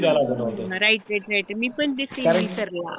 right right right मी पण